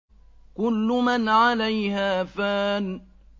كُلُّ مَنْ عَلَيْهَا فَانٍ